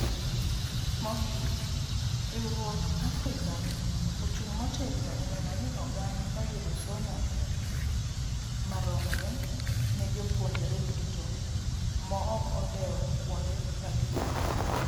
Mogik, riwruok Africa ochung' motegno eneno ni ogando oyudo somo maromre ne jopuonjre duto maok odewo kuonde magiwuokie